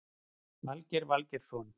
Valgeir Valgeirsson